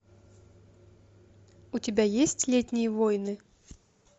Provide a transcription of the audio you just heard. у тебя есть летние войны